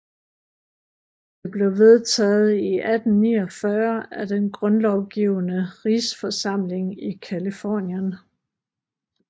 Det blev vedtaget i 1849 af den Grundlovgivende Rigsforsamling i Californien